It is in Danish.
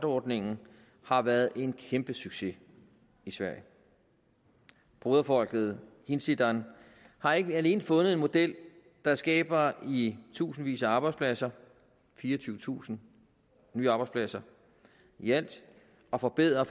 ordningen har været en kæmpe succes i sverige broderfolket hinsidan har ikke alene fundet en model der skaber i tusindvis af arbejdspladser fireogtyvetusind nye arbejdspladser i alt og forbedrer og